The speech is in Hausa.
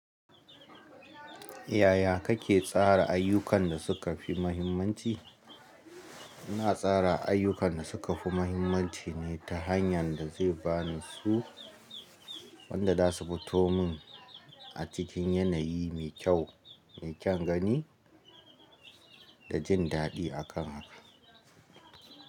Yaya kake tsara ayyukan da suka fi mahimmanci? Ina tsara ayyukan da suka fi mahimmanci ne ta hanyar da zai ba ni su wanda za su fito min a cikin yanayi mai kyau, mai kyan gani da jin daɗi akan haka.